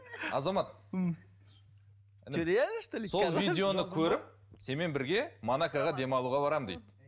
азамат что реально что ли сол видеоны көріп сенімен бірге монакоға демалуға барамын дейді